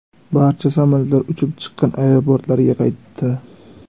Barcha samolyotlar uchib chiqqan aeroportlariga qaytdi.